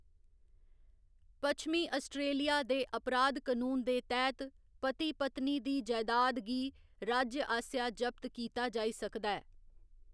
पश्चमी Australia दे अपराध कनून दे तैह्‌‌‌त पति पत्नी दी जैदाद गी राज्य आसेआ जब्त कीता जाई सकदा ऐ।